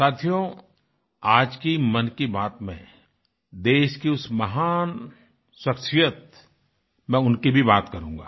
साथियो आज की मन की बात में देश की उस महान शख्सियत मैं उनकी भी बात करूँगा